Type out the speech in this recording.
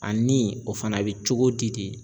A ni o fana be cogo di de?